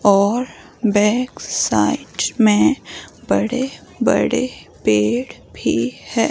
और back side में बड़े-बड़े पेड़ भी है।